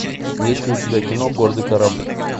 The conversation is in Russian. есть ли у тебя кино гордый кораблик